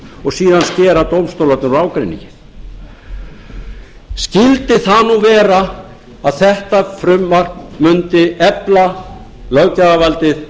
síðan skera dómstólarnir úr ágreiningi skyldi það nú vera að þetta frumvarp mundi efla löggjafarvaldið